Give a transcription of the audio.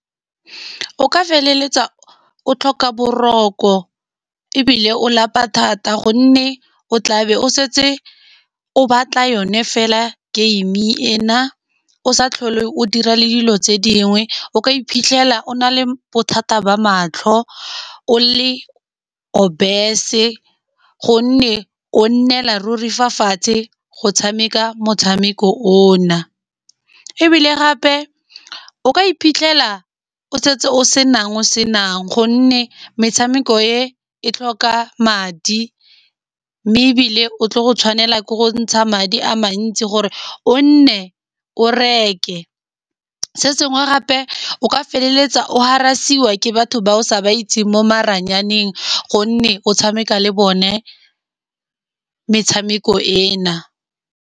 O feleletsa o tlhoka boroko ebile o lapa thata, gonne o tlabe o setse o batla yone fela game e na. O sa tlhole o dira le dilo tse dingwe, o ka iphitlhela o na le bothata ba matlho, o le obesse-e gonne o nnela ruri fa fatshe go tshameka motshameko o na. Ebile gape o ka iphitlhela o setse o senang o senang, gonne metshameko e e tlhoka madi mme ebile o tlo go tshwanela ke go ntsha madi a mantsi gore o nne o reke. Se sengwe gape o ka feleletsa o harass-iwa ke batho ba o sa ba itseng mo maranyaneng, gonne o tshameka le bone metshameko e na.